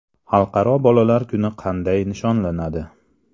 Xalqaro bolalar kuni qanday nishonlanadi?